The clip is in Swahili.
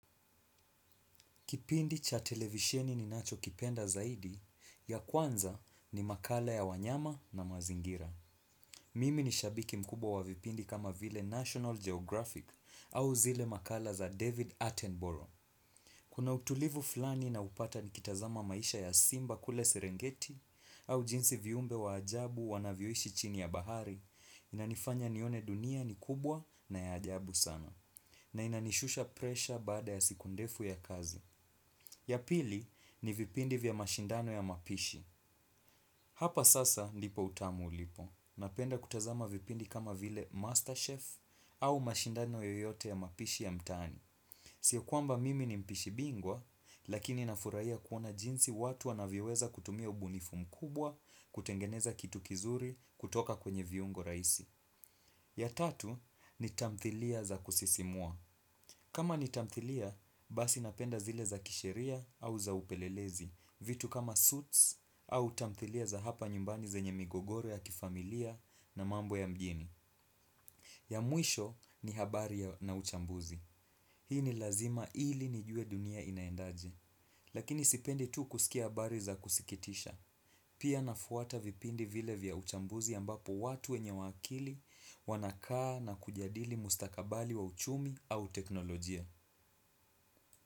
Kipindi cha televisheni ninachokipenda zaidi ya kwanza ni makala ya wanyama na mazingira. Mimi ni shabiki mkubwa wa vipindi kama vile National Geographic au zile makala za David Attenborough. Kuna utulivu fulani naupata nikitazama maisha ya simba kule serengeti au jinsi viumbe wa ajabu wanavyoishi chini ya bahari, inanifanya nione dunia ni kubwa na ya ajabu sana. Na inanishusha presha baada ya siku ndefu ya kazi. Ya pili ni vipindi vya mashindano ya mapishi. Hapa sasa nipo utamu ulipo. Napenda kutazama vipindi kama vile Masterchef au mashindano yoyote ya mapishi ya mtaani. Sio kwamba mimi ni mpishi bingwa lakini nafurahia kuona jinsi watu wanavyoweza kutumia ubunifu mkubwa kutengeneza kitu kizuri kutoka kwenye viungo rahisi. Ya tatu ni tamthilia za kusisimua. Kama ni tamthilia, basi napenda zile za kisheria au za upelelezi. Vitu kama suits au tamthilia za hapa nyumbani zenye migogoro ya kifamilia na mambo ya mjini. Ya mwisho ni habari na uchambuzi. Hii ni lazima ili nijue dunia inaendaje. Lakini sipendi tu kusikia habari za kusikitisha. Pia nafuata vipindi vile vya uchambuzi ambapo watu wenye wakili wanakaa na kujadili mustakabali wa uchumi au teknolojia.